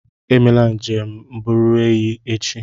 Emela njem mbubreyo echi.